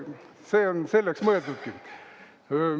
See on selleks mõeldudki.